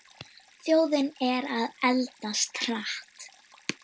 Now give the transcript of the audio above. Þjóðin er að eldast hratt.